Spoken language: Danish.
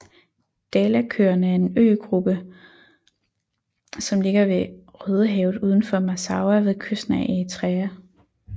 Dahlakøerne er en øgruppe som ligger i Rødehavet udenfor Massawa ved kysten af Eritrea